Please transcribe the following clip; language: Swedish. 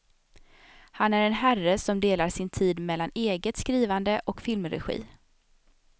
Han är en herre som delar sin tid mellan eget skrivande och filmregi.